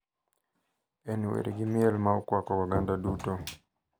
En wer gi miel ma okwako oganda duto.